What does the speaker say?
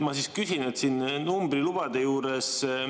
Ma siis küsin numbrilubade kohta.